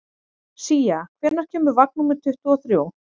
Sía, hvenær kemur vagn númer tuttugu og þrjú?